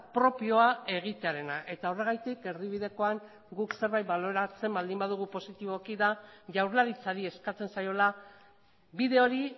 propioa egitearena eta horregatik erdibidekoan guk zerbait baloratzen baldin badugu positiboki da jaurlaritzari eskatzen zaiola bide hori